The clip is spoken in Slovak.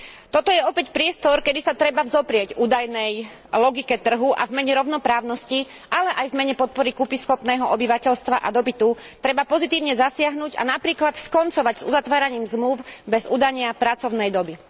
Toto je opäť priestor, kedy sa treba vzoprieť údajnej logike trhu a v mene rovnoprávnosti, ale aj v mene podpory kúpyschopného obyvateľstva a dopytu treba pozitívne zasiahnuť a napríklad skoncovať s uzatváraním zmlúv bez udania pracovnej doby.